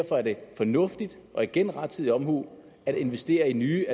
fornuftigt og igen rettidig omhu at investere i nye